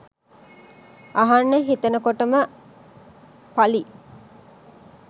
අහන්න හිතනකොටම ප.ලි.